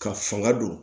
Ka fanga don